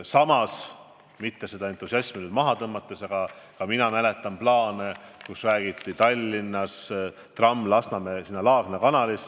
Samas, ma ei taha seda entusiasmi nüüd maha tõmmata, aga ma mäletan plaane panna Tallinnas tramm sõitma Lasnamäele viivas Laagna kanalis.